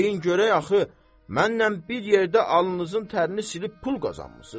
Deyin görək axı, mənlə bir yerdə alnınızın tərini silib pul qazanmısınız?